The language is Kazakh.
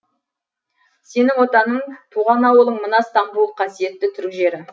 сенің отаның туған ауылың мына стамбул қасиетті түрік жері